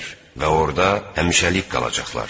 Və orda həmişəlik qalacaqlar.